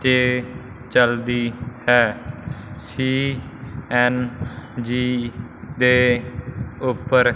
ਤੇ ਚਲਦੀ ਹੈ ਸੀ_ਐਨ_ਜੀ ਦੇ ਉੱਪਰ--